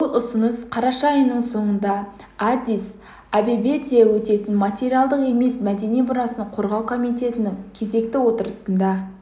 бұл ұсыныс қараша айының соңында аддис-абебеде өтетін материалдық емес мәдени мұрасын қорғау комитетінің кезекті отырысында